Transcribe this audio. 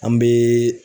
An bɛ